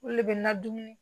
O le bɛ na dumuni